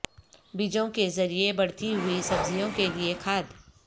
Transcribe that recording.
بیجوں کے ذریعے بڑھتی ہوئی سبزیوں کے لئے کھاد